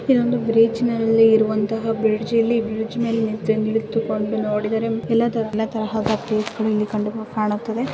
ಇದೊಂದು ಬೀಚ್ನಲ್ಲಿ ಇರುವ ಅಂತಹ ಬ್ರಿಡ್ಜ್ . ಇಲ್ಲಿ ಬ್ರಿಡ್ಜ್ ಮೇಲೆ ನಿಂತು ನಿಂತ್ಕೊಂಡು ನೋಡಿದರೆ ಎಲ್ಲ ತರ ಎಲ್ಲಾ ತರ ಪ್ಲೇಸ್ಗಳು ಇಲ್ಲಿ ಕಂಡು ಕಾಣುತ್ತದೆ.